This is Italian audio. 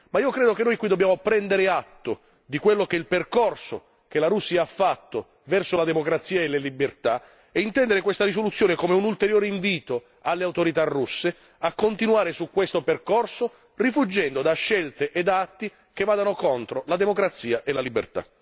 Ma io credo che noi qui dobbiamo prendere atto del percorso che la Russia ha fatto verso la democrazia e le libertà e intendere questa risoluzione come un ulteriore invito alle autorità russe a continuare su questo percorso rifuggendo da scelte ed atti che vadano contro la democrazia e la libertà.